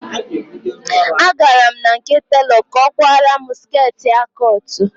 Agara m na nke telọ ka ọ kwara mụ skirtị A cụt